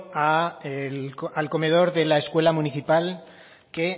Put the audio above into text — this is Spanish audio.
al comedor de la escuela municipal que